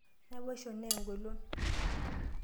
Naboisho naa engolon.